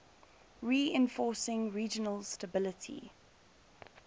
reinforcing regional stability